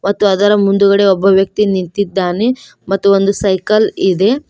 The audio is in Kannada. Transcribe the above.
ಮತ್ತು ಅದರ ಮುಂದುಗಡೆ ಒಬ್ಬ ವ್ಯಕ್ತಿ ನಿಂತಿದ್ದಾನೆ ಮತ್ತು ಒಂದು ಸೈಕಲ್ ಇದೆ.